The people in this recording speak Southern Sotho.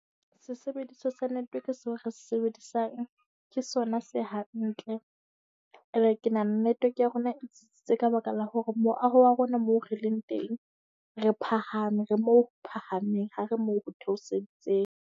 Sesebediswa sa network seo re se sebedisang ke sona se hantle . Ke nahana network ya rona e tsitsitse ka baka la hore moaho wa rona moo re leng teng re phahame, re moo ho phahameng. Ha re moo ho theoseditseng.